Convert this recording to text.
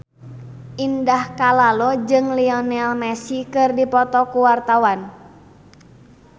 Indah Kalalo jeung Lionel Messi keur dipoto ku wartawan